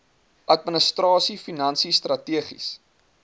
administrasie finansies strategiese